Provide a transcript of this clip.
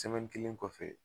kelen kɔfɛ.